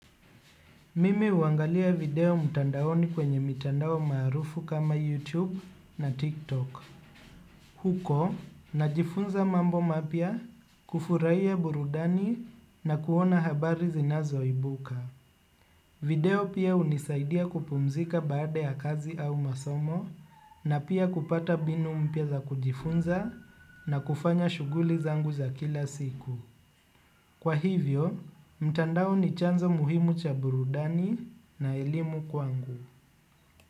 Mimi huangalia video mtandaoni kwenye mitandao maarufu kama YouTube na TikTok. Huko najifunza mambo mapya kufurahia burudani na kuona habari zinazoibuka. Video pia hunisaidia kupumzika baada ya kazi au masomo na pia kupata mbinu mpya za kujifunza na kufanya shuguli zangu za kila siku. Kwa hivyo, mtandao ni chanzo muhimu cha burudani na elimu kwangu.